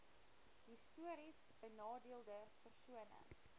histories benadeelde persone